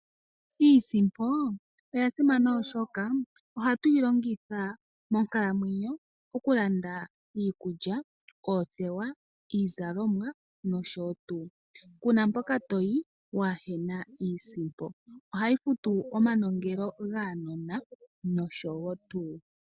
Iisimpo oya simana oshoka ohatu yi longitha monkalamwenyo okulanda iikulya, oothewa, iizalomwa, nosho tuu. Kuna mpoka toyi, waahena iisimpo. Ohayi futu omanongelo gaanona, nosho tuu.